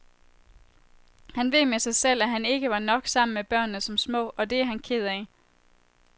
Han ved med sig selv, at han ikke var nok sammen med børnene som små, og det er han ked af.